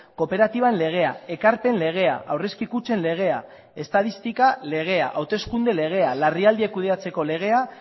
kooperatiben legea ekarpen legea aurrezki kutxen legea estatistika legea hauteskunde legea larrialdiak kudeatzeko legea